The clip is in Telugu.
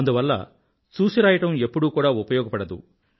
అందువల్ల చూసి రాయడం ఎప్పుడూ కూడా ఉపయోగపడదు